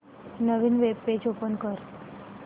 नवीन web page open कर